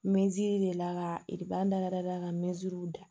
deli la ka da da da ka da